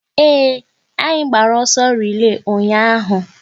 Ee, anyị gbara ọsọ relay ụnyaahụ